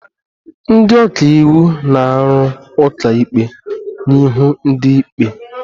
Ndị ọka iwu na-arụ ụka ikpe n'ihu ndị ikpe